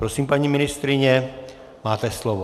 Prosím, paní ministryně, máte slovo.